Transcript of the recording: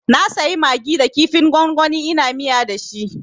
Na sayi magi da kifin gwangwani ina miya dashi